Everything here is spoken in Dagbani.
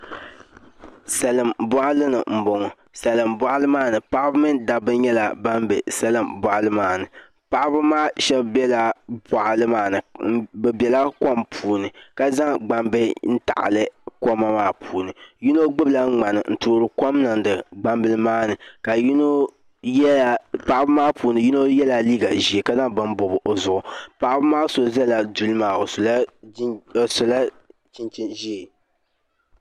Salin boɣali ni n boŋo paɣaba mini dabba nyɛla ban bɛ salin boɣali maa ni paɣaba maa shab biɛla boɣali maa ni bi biɛla kom puuni ka zaŋ gbambihi n taɣali koma maa puuni yino gbubila ŋmani n toori kom niŋdi gbambili maa ni ka yino paɣaba maa puuni yino yɛla liiga ʒiɛ ka zaŋ bini bob o zuɣu paɣaba maa so ʒɛla duli maa o sola chinchin ʒiɛ